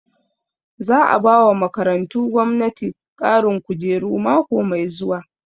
Za a bawa makarantu gwamnati ƙarin kujeru mako mai zuwa